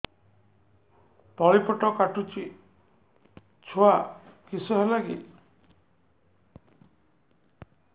ତଳିପେଟ କାଟୁଚି ଛୁଆ କିଶ ହେଲା କି